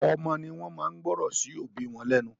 Ọ̀pọ̀ ọmọ ní wọ́n máa ń gbọ́ràn sí òbí wọn lẹ́nu.